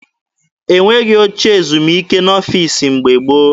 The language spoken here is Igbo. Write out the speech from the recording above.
E nweghị oche ezumike n'ọfiisi mgbe gboo.